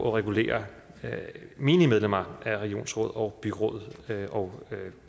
at regulere menige medlemmer af regionsråd og byråd og